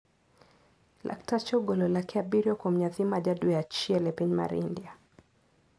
Laktache ogolo lake abiriyo kuom nyathi ma ja dwe achiel e piny mar India.